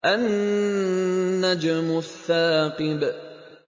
النَّجْمُ الثَّاقِبُ